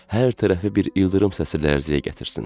Hər tərəfi bir ildırım səsilə lərzəyə gətirsin.